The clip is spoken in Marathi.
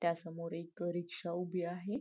त्यासमोर एक रिक्षा उभी आहे.